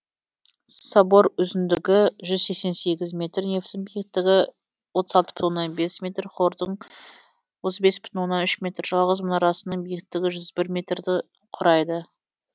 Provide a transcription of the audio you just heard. собор үзындығы жүз сексен сегіз метр нефтің биікігі отыз алты бүтін оннан бес метр хордың отыз бес бүтін оннан бес метр жалғыз мұнарасының биіктігі жүз бір метрді құрайды